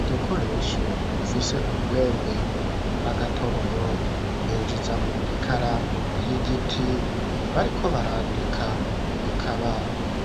Udukoresho dufise urwembe n'agatoboro binjizamwo ikaramu y'igiti bariko barandika ikaba